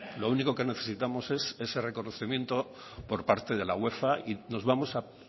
lo único que necesitamos es ese reconocimiento por parte de la uefa y nos vamos a